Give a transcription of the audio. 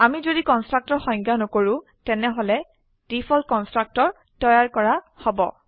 আমি যদি কনষ্ট্ৰাক্টৰ সংজ্ঞায় নকৰো তেনেহলে ডিফল্ট কনস্ট্ৰাক্টৰ তৈয়াৰ কৰা হব